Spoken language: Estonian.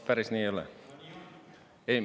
Päris nii ei ole.